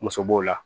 Muso b'o la